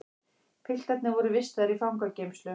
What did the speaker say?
Piltarnir voru vistaðir í fangageymslu